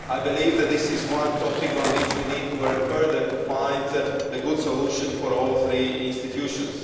I believe that this is one topic on which we need to work further to find a good solution for all three institutions.